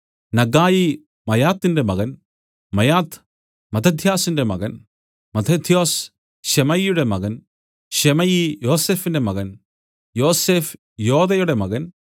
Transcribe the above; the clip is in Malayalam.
നഗ്ഗായി മയാത്തിന്റെ മകൻ മയാത്ത് മത്തഥ്യൊസിന്റെ മകൻ മത്തഥ്യൊസ് ശെമയിയുടെ മകൻ ശെമയി യോസഫിന്റെ മകൻ യോസഫ് യോദയുടെ മകൻ